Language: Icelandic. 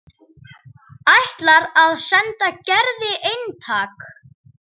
Ætlar að senda Gerði eintak.